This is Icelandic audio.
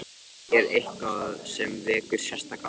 Er eitthvað sem vekur sérstaka athygli?